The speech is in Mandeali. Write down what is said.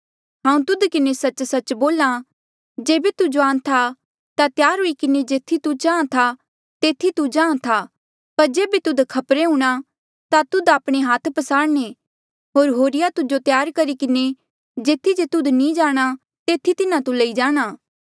हांऊँ तुध किन्हें सच्च सच्च बोल्हा जेबे तू जुआन था ता त्यार हुई किन्हें जेथी तू चाहां था तेथी तू जाहाँ था पर जेबे तुध खपरे हूंणां ता तुध आपणे हाथ पसारणे होर होरिया तुजो त्यार करी किन्हें जेथी जे तुध नी जाणा तेथी तिन्हा तू लई जाणा